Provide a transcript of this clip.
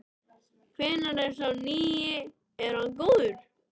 Hvernig er sá nýi, er hann góður?